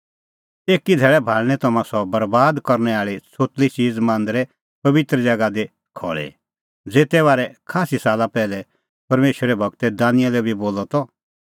एकी धैल़ै भाल़णीं तम्हां सह बरैबाद करनै आल़ी छ़ोतली च़ीज़ मांदरै पबित्र ज़ैगा दी खल़ी ज़ेते बारै खास्सी साला पैहलै परमेशरो गूर दानिएल बी बोला तपहल़णैं आल़अ दै एसा गल्ला लै धैन